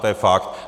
To je fakt.